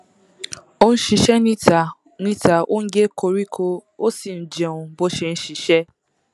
ó ń ṣiṣẹ níta níta ó ń gé koríko ó sì ń jẹun bó ṣe ń ṣiṣẹ